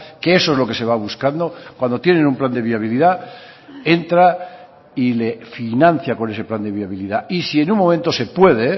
que eso es lo que se va buscando cuando tienen un plan de viabilidad entra y le financia con ese plan de viabilidad y si en un momento se puede